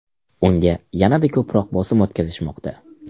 Unga yanada ko‘proq bosim o‘tkazishmoqda.